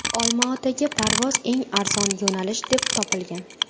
Olmaotaga parvoz eng arzon yo‘nalish deb topilgan.